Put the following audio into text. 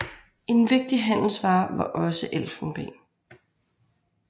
En vigtig handelsvare var også elfenben